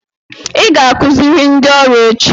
Ị ga-akụziri ndị ọrụ echi.